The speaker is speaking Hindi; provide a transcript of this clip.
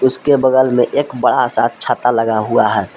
बगल में एक बड़ा सा छाता लगा हुआ है।